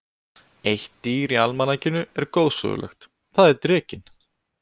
Eitt dýr í almanakinu er goðsögulegt, það er drekinn.